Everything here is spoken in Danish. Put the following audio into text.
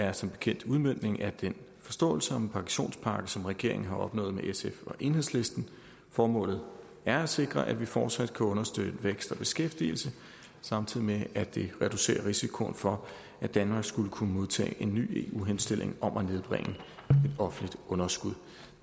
er som bekendt en udmøntning af den forståelse om en pensionspakke som regeringen har opnået med sf og enhedslisten formålet er at sikre at vi fortsat kan understøtte vækst og beskæftigelse samtidig med at vi reducerer risikoen for at danmark skulle kunne modtage en ny eu henstilling om at nedbringe et offentligt underskud